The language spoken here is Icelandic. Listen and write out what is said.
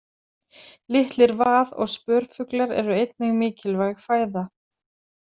Litlir vað- og spörfuglar eru einnig mikilvæg fæða.